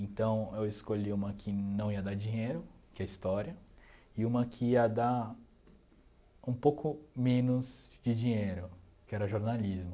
Então, eu escolhi uma que não ia dar dinheiro, que é História, e uma que ia dar um pouco menos de dinheiro, que era Jornalismo.